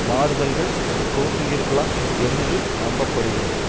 மாறுதல்கள் தோன்றியிருக்கலாம் என்று நம்ப படுகிறது